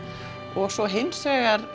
og svo hins vegar